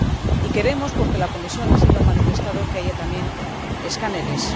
Y queremos porque la Comisión así lo ha manifestado que haya también escáneres.